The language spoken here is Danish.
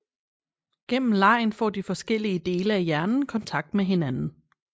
Gennem legen får de forskellige dele af hjernen kontakt med hinanden